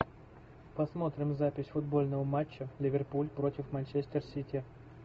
посмотрим запись футбольного матча ливерпуль против манчестер сити